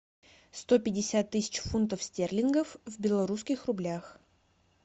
сто пятьдесят тысяч фунтов стерлингов в белорусских рублях